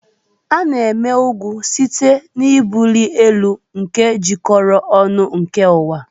A na-eme ugwu site n'ebuli elu nke jikọrọ ọnụ nke ụwa.